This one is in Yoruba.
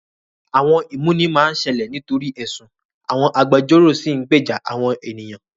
Àwọn ìmúni máa ń ṣẹlẹ̀ nítorí ẹ̀sùn, àwọn agbẹjọ́rò sì ń gbèjà àwọn ènìyàn.